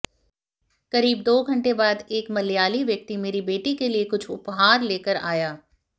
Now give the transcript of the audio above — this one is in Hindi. करीब दो घंटे बाद एक मलयाली व्यक्ति मेरी बेटी के लिए कुछ उपहार लेकर आया